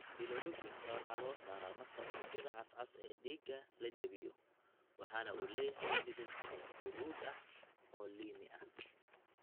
Bilirubinka waxa la soo saaraa marka unugyada cas cas ee dhiigga la jebiyo, waxana uu leeyahay midab huruud ah oo liimi ah.